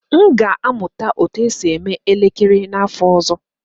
M ga-amụta otú e si eme elekere n'afọ ọzọ